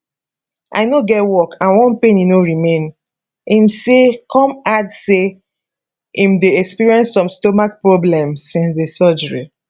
i no get work and one penny no remain im say come add say im dey experience some stomach problems since di surgery